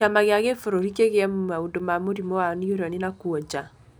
Kĩama kĩa gĩburũri kĩgie maundũ ma Mũrimũ wa neuroni na kuonja.